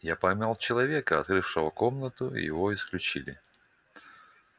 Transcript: я поймал человека открывшего комнату и его исключили